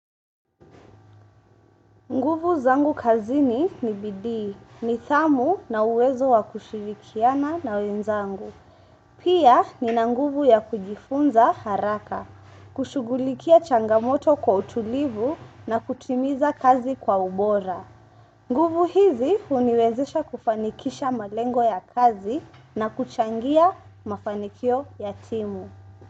Nguvu zangu kazini ni bidii, nidhamu na uwezo wa kushirikiana na wenzangu. Pia ni na nguvu ya kujifunza haraka, kushugulikia changamoto kwa utulivu na kutimiza kazi kwa ubora. Nguvu hizi uniwezesha kufanikisha malengo ya kazi na kuchangia mafanikio yatimu.